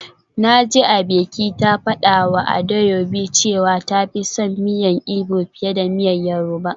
Naji Abike ta fadawa Adaobi cewa ta fi son miyan igbo fiye da miyan yoruba.